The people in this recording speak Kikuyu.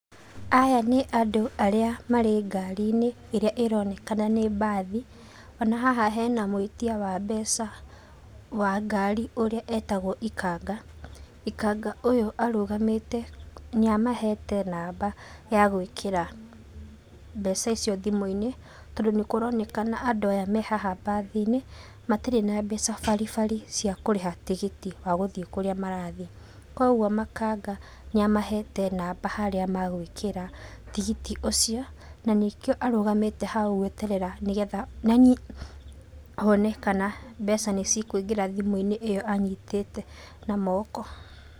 Aya nĩ Andũ arĩa marĩ ngarinĩ, ĩrĩa ĩronekana nĩ mbathi. Ona haha hena mwĩtia wa mbeca wa ngari, ũrĩa etagwo ikanga. Ikanga ũyũ arũgamĩte, nĩamahete namba ya gwĩkĩra mbeca icio thimũ-inĩ, tondũ nĩkũronekana Andũ aya me haha mbathinĩ matirĩ na mbeca baribari cia kũrĩha tigiti wa gũthiĩ kũrĩa marathiĩ. Koguo makanga nĩamahete namba harĩa magwĩkĩra tigiti ũcio na nĩkĩo arũgamĩte hau gweterea nĩgetha, na ni one kana mbeca nĩcikũingĩra thimu-inĩ ĩo anyitĩte na moko.